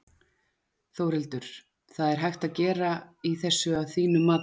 Þórhildur: Hvað er hægt að gera í þessu að þínu mati?